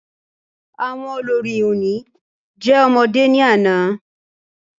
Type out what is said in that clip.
Àwọn olórí oní jẹ́ ọmọdé ní àná